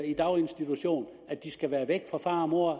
i daginstitution og med at de skal være væk fra far og mor